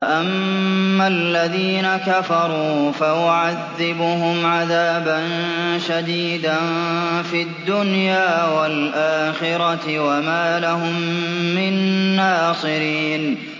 فَأَمَّا الَّذِينَ كَفَرُوا فَأُعَذِّبُهُمْ عَذَابًا شَدِيدًا فِي الدُّنْيَا وَالْآخِرَةِ وَمَا لَهُم مِّن نَّاصِرِينَ